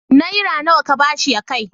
Naira nawa ka ba shi ya kai?